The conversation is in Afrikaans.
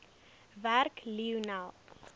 werk lionel